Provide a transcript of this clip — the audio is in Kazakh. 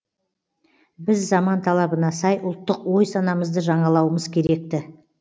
біз заман талабына сай ұлттық ой санамызды жаңалауымыз керек ті